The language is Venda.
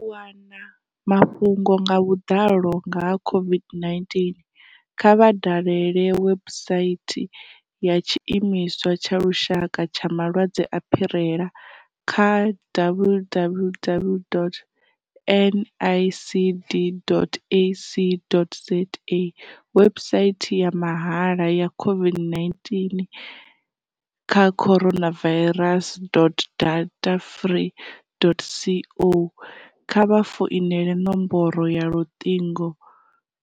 U wana mafhungo nga vhuḓalo nga ha COVID-19, kha vha dalele webusaithi ya Tshiimiswa tsha Lushaka tsha Malwadze a Phirela kha www.nicd.ac.za, webusaithi ya mahala ya COVID-19 kha coronavirus.datafree.co, kha vha founele nomboro ya Luṱingo